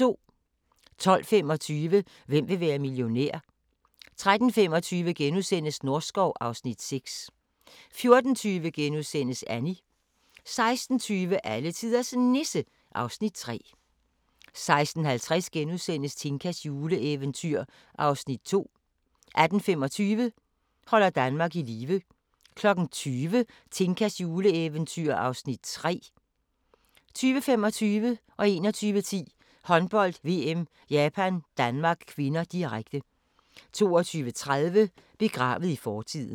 12:25: Hvem vil være millionær? 13:25: Norskov (Afs. 6)* 14:20: Annie * 16:20: Alletiders Nisse (Afs. 3) 16:50: Tinkas juleeventyr (Afs. 2)* 18:25: Holder Danmark i live 20:00: Tinkas juleeventyr (Afs. 3) 20:25: Håndbold: VM - Japan-Danmark (k), direkte 21:10: Håndbold: VM - Japan-Danmark (k), direkte 22:30: Begravet i fortiden